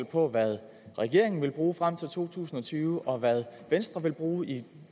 på hvad regeringen vil bruge frem til to tusind og tyve og hvad venstre vil bruge i